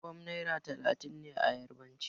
Ogbon' naira talatin ne a yarbanci.